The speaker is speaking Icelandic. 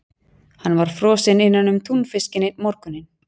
Hann var frosinn innanum túnfiskinn einn morguninn.